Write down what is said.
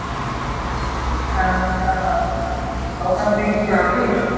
হ্যাঁ মুন্না ভাই। তা ওখানে তুই কি যাবি?